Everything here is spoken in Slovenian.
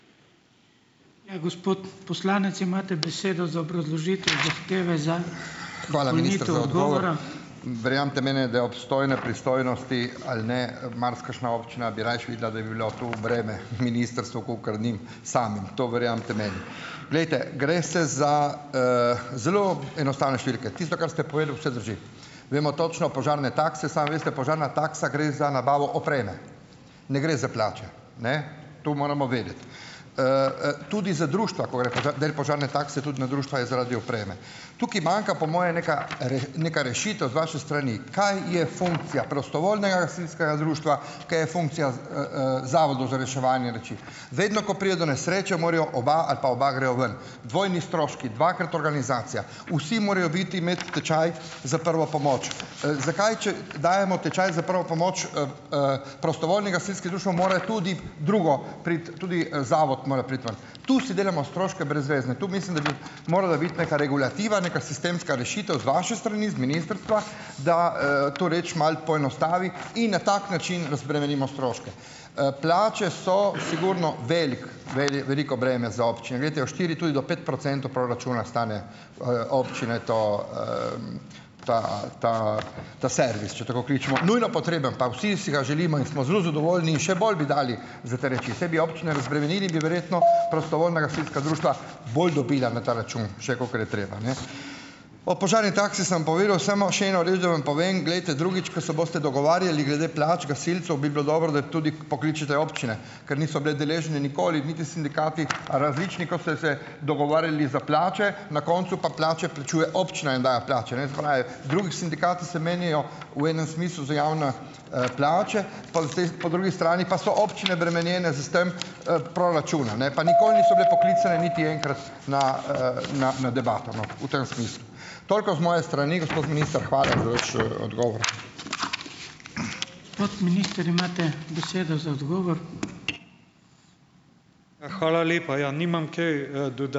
Verjemite meni, da obstojne pristojnosti ali ne, marsikakšna občina bi rajši videla, da bi bilo to breme ministrstvu kakor njim samim. To verjemite meni. Glejte, gre se za zelo enostavne številke. Tisto, kar ste povedal, vse drži. Vemo točno, požarne takse. Samo veste, požarna taksa gre za nabavo opreme, ne gre za plače. Ne. To moramo vedeti. Tudi za društva, ko gre del požarne takse tudi na društva, je zaradi opreme. Tukaj manjka, po moje, neka neka rešitev z vaše strani, kaj je funkcija prostovoljnega gasilskega društva, kaj je funkcija, zavodov za reševanje reči. Vedno, ko pride do nesreče morajo oba ali pa oba grejo ven, dvojni stroški, dvakrat organizacija. Vsi morajo biti imeti tečaj za prvo pomoč. Zakaj če dajemo tečaj za prvo pomoč prostovoljnim gasilskim društvom, mora tudi drugo priti, tudi, zato mora priti ven. Tu si delamo stroške brezvezne. Tu mislim, da bi morala biti neka regulativa, neka sistemska rešitev z vaše strani, z ministrstva, da, to reč malo poenostavi in na tak način razbremenimo stroške. Plače so sigurno veliko veliko breme za občine. Glejte, od štiri tudi do pet procentov proračuna stane, občine to, ta ta ta servis, če tako tako kličemo. Nujno potrebno, pa vsi si ga želimo in smo zelo zadovoljni, še bolj bi dali za te reči. Saj bi občine razbremenili, bi verjetno prostovoljna gasilska društva bolj dobila na ta račun še, kakor je treba, ne. O požarni taksi sem povedal. Samo še eno reč, da vam povem. Glejte, drugič, ko se boste dogovarjali glede plač gasilcev bi bilo dobro, da tudi pokličete občine, ker niso bile deležne nikoli, niti sindikati, različni, ko ste se dogovarjali za plače, na koncu pa plače plačuje občina, jim daje plače, ne? Se pravi, drugi sindikati se menijo v enem smislu za javne, plače, po drugi strani pa so občine bremenjene s s tem, proračuna, ne, pa nikoli niso bile poklicane niti enkrat na, na debato, no, v tem smislu. Toliko z moje strani, gospod minister, hvala za vaš, odgovor.